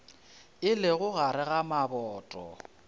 e lego gare ga maboto